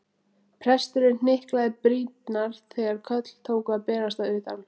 Presturinn hnyklaði brýnnar þegar köll tóku að berast að utan.